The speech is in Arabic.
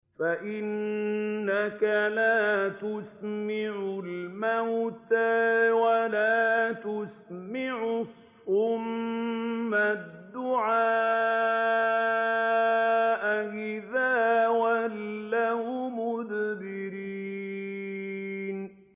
فَإِنَّكَ لَا تُسْمِعُ الْمَوْتَىٰ وَلَا تُسْمِعُ الصُّمَّ الدُّعَاءَ إِذَا وَلَّوْا مُدْبِرِينَ